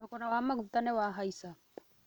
Thogora wa maguta nĩ wa haica